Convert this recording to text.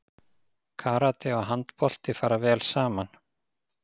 Karate og handbolti fara vel saman